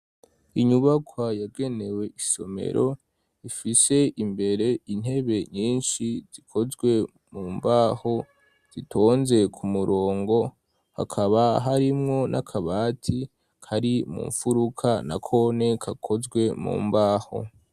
Inyubakwa yagenewe isomero ifise imbere intebe nyinshi zikozwe mu mbaho zitonze ku murongo hakaba harimwo n'akabati kari mu mfuruka na kone kakozwe mu mbaho.